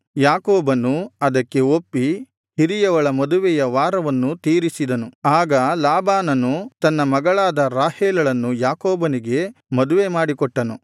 ಯಾಕೋಬನು ಅದಕ್ಕೆ ಒಪ್ಪಿ ಹಿರಿಯವಳ ಮದುವೆಯ ವಾರವನ್ನು ತೀರಿಸಿದನು ಆಗ ಲಾಬಾನನು ತನ್ನ ಮಗಳಾದ ರಾಹೇಲಳನ್ನು ಯಾಕೋಬನಿಗೆ ಮದುವೆ ಮಾಡಿ ಕೊಟ್ಟನು